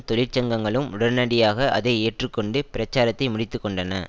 தொழிற்சங்கங்களும் உடனடியாக அதை ஏற்றுக்கொண்டு பிரச்சாரத்தை முடித்து கொண்டன